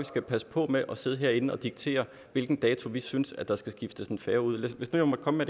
skal passe på med at sidde herinde og diktere hvilken dato vi synes der skal skiftes en færge ud lad mig komme